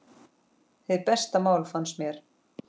Hið besta mál, fannst mér.